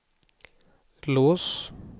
lås